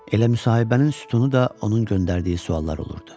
Elə müsahibənin sütunu da onun göndərdiyi suallar olurdu.